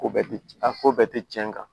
Ko bɛɛ tɛ a ko bɛɛ tɛ tiɲɛ kan